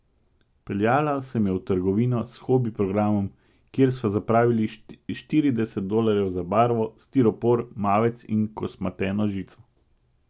Peljala sem jo v trgovino s hobi programom, kjer sva zapravili štirideset dolarjev za barvo, stiropor, mavec in kosmateno žico.